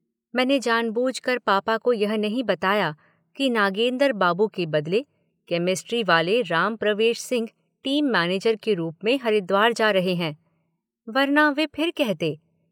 मैंने जानबूझ कर पापा को यह नहीं बताया कि नागेंद्र बाबू के बदले केमेस्ट्री वाले राम प्रवेश सिंह टीम मैनेजर के रूप में हरिद्वार जा रहे हैं, वर्ना वे फिर कहते